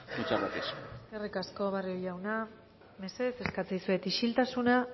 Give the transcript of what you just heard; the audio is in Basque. muchas gracias eskerrik asko barrio jauna mesedez eskatzen dizuet isiltasuna